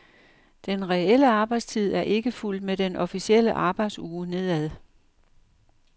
Den reelle arbejdstid er ikke fulgt med den officielle arbejdsuge nedad.